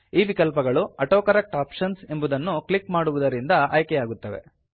ಈ ವಿಕಲ್ಪಗಳು autocorrect options ಎಂಬುದನ್ನು ಕ್ಲಿಕ್ ಮಾಡುವುದರಿಂದ ಆಯ್ಕೆಯಾಗುತ್ತವೆ